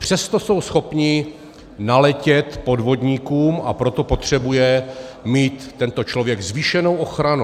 Přesto jsou schopni naletět podvodníkům, a proto potřebuje mít tento člověk zvýšenou ochranu.